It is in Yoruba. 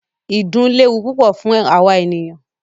Ìdun léwu púpọ fún àwa ènìyàn.